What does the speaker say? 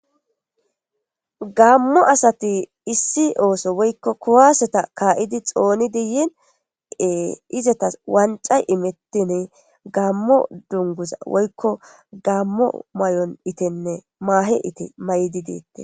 Gammo asati issi ooso woykko kuwaseta kaa'idi xoonidanne izatas wancay imettini gammo dunguza woykko gammo mayon itenne maahe ite mayidi deettes.